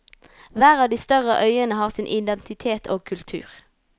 Hver av de større øyene har sin identitet og kultur.